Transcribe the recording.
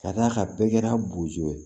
Ka d'a kan bɛɛ kɛra bozo ye